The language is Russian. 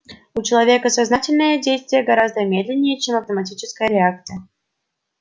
у человека сознательное действие гораздо медленнее чем автоматическая реакция